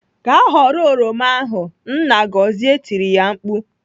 "Gaa ghọrọ oroma ahụ!" Nna Gọzie tiri ya mkpu.